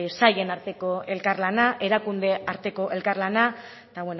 sailen arteko elkarlana erakunde arteko elkarlana eta